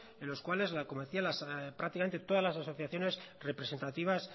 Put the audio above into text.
en los cuales las como decía antes las asociaciones representativas